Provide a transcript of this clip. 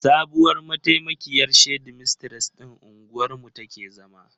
Sabuwar mataimakiyar shedimistres ɗin unguwar mu take zama.